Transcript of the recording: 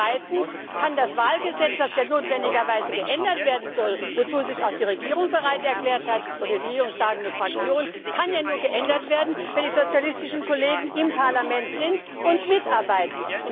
Zweitens kann das Wahlgesetz, das ja notwendigerweise geändert werden soll, wozu sich auch die Regierung oder die regierungstragende Fraktion bereit erklärt hat, nur geändert werden, wenn die sozialistischen Kollegen im Parlament sind und mitarbeiten.